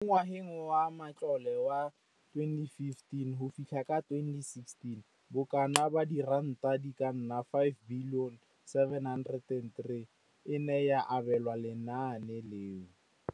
Mo ngwageng wa matlole wa 2015,16, bokanaka R5 703 bilione e ne ya abelwa lenaane leno.